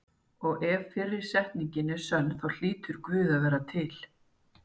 Og ef fyrri setningin er sönn þá hlýtur Guð að vera til.